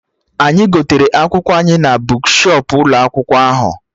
Anyị gotere akwụkwọ anyị na bukshọp ụlọ akwụkwọ ahụ